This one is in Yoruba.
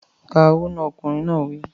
Ka owó náà! Ọkùnrin náà wí.